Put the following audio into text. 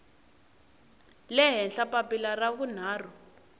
le henhla papila ra vunharhu